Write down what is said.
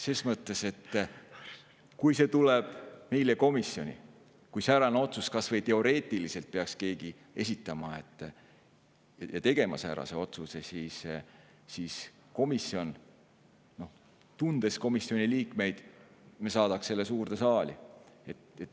Ses mõttes, et kui see tuleb meile komisjoni ja kui säärase otsuse peaks keegi kas või teoreetiliselt tegema, siis komisjon – tundes komisjoni liikmeid – saadaks selle suurde saali.